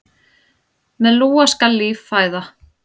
Með lúa skal líf fæða.